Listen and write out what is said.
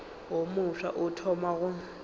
wo mofsa o thoma go